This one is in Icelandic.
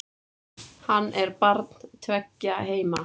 Hann er barn tveggja heima.